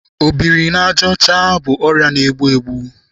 Obiri n'aja ọcha bụ ọrịa na-egbu egbu.